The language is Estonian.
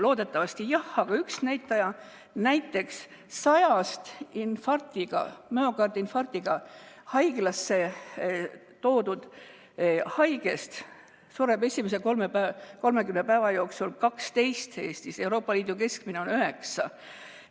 Loodetavasti jah, aga üks näitaja: näiteks 100‑st müokardiinfarktiga haiglasse toodud haigest sureb esimese 30 päeva jooksul Eestis 12, Euroopa Liidu keskmine on 9.